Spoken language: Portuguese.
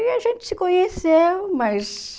E a gente se conheceu, mas...